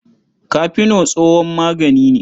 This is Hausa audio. Kafeno tsohon magani ne.